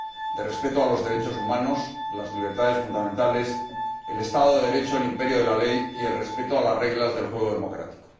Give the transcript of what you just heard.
de respeto de los derechos humanos, las libertades fundamentales, el Estado de Derecho, el imperio de la ley y el respeto de las reglas del juego democrático.